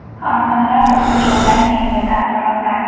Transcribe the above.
Afsonalar to‘qnashuvidan keyingi taassurotlar.